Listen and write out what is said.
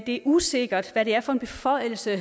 det er usikkert hvad det er for en beføjelse